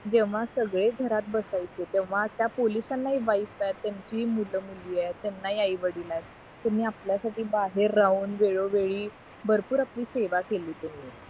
जेव्हा सगळे घरात बसायचे तेव्हा त्या पोलिसांना ही वाईट काळात त्यांना त्यांची मुलं मुली येत त्यांना ही आई वडील येत तुम्ही आपल्यासाठी बाहेर राहून वेळोवेळी भरपूर आपली सेवा केलीत